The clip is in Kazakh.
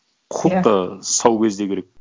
құқық та сау кезде керек